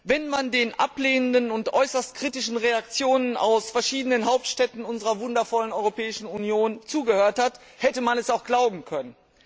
Wenn man den ablehnenden und äußerst kritischen Reaktionen aus verschiedenen Hauptstädten unserer wundervollen Europäischen Union zugehört hat, hätte man das auch glauben können.